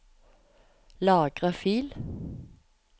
Lagre fil